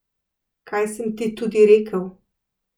Kaj sem ti tudi rekel?